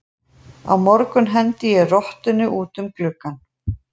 Á morgun hendi ég rottunni út um gluggann.